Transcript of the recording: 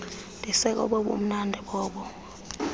ndisekobo bumnandi bobo